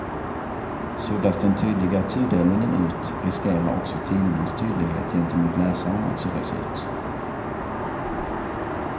Suddas den tydliga tudelningen ut, riskerar också tidningens tydlighet gentemot läsaren att suddas ut.